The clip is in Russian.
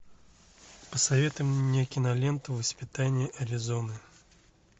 посоветуй мне киноленту воспитание аризоны